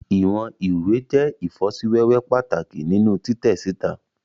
Iwọn iwe jẹ ifosiwewe pataki ninu titẹ sita